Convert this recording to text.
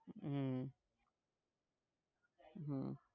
હમ હમ